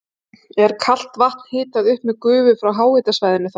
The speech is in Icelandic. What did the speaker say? Er kalt vatn hitað upp með gufu frá háhitasvæðinu þar.